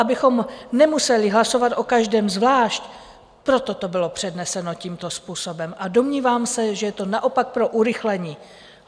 Abychom nemuseli hlasovat o každém zvlášť, proto to bylo předneseno tímto způsobem, a domnívám se, že je to naopak pro urychlení.